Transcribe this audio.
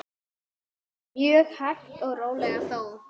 Mjög hægt og rólega þó.